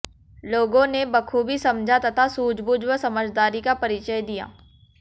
लोगों ने बखूबी समझा तथा सूझबूझ व समझदारी का परिचय दिया